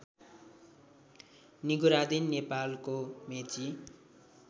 निगुरादिन नेपालको मेची